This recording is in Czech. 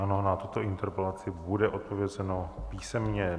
Ano, na tuto interpelaci bude odpovězeno písemně.